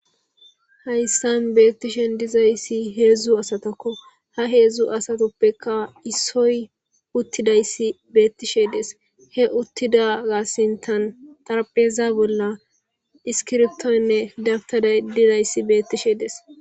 hayssan beettishen dizayssi heedzdzu asatakko ha heedzdzu asatoppeka issoy uttidayssi beettishe des he uttidaga sintan xarapeza bolla iskirtonne dabtada didayssi beettishe des